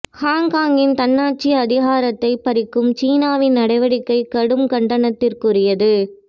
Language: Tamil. ஹாங்காங்கின் தன்னாட்சி அதிகாரத்தை பறிக்கும் சீனாவின் நடவடிக்கை கடும் கண்டனத்துக்குரியது